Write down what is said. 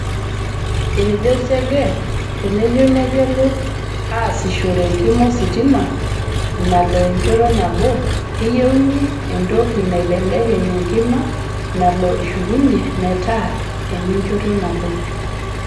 Etejo Chege teneyieu negelu aasishore enkima ositima nalo enchoto nabo , keyieuni entoki nabelekeny enkima nalo eshukunye metaa enechoto nabo.